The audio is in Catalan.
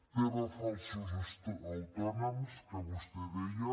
tema falsos autònoms que vostè deia